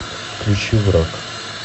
включи враг